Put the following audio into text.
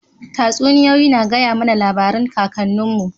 Tatsuniyoyi na gaya mana labarin kakannin mu